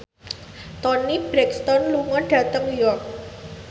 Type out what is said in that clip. Toni Brexton lunga dhateng York